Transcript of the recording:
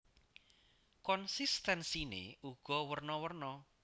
Konsistensiné uga werna werna